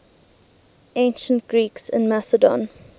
ancient greeks in macedon